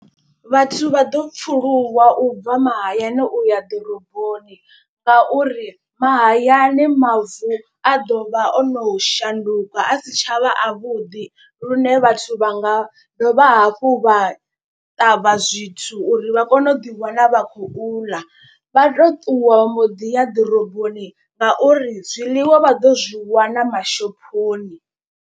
Vhathu vha ḓo pfuluwa u bva mahayani uya ḓoroboni ngauri mahayani mavu a ḓo vha o no shanduka a si tshavha avhuḓi. Lune vhathu vha nga ha dovha hafhu vha ṱavha zwithu uri vha kone u ḓiwana vha khou ḽa. Vha to ṱuwa vha mboḓi ya ḓoroboni ngauri zwiḽiwa vha ḓo zwi wana mashophoni.